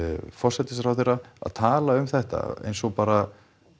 forsætisráðherra að tala um þetta eins og bara